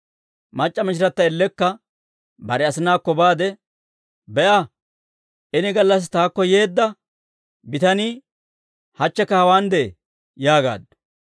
Mac'c'a mishirata ellekka bare asinaakko baade, «Be'a, ini gallassi taakko yeedda bitanii hachchikka hawaan de'ee» yaagaaddu.